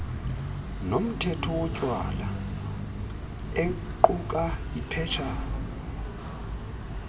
nomthetho wotywala equkaiphetshana